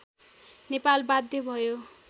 नेपाल बाध्य भयो